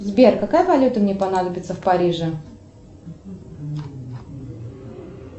сбер какая валюта мне понадобится в париже